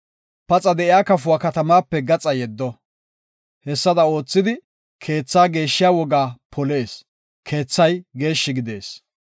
Paxa de7iya kafuwa katamaape gaxa yeddo. Hessada oothidi, keethaa geeshshiya wogaa polees; keethay geeshshi gidees.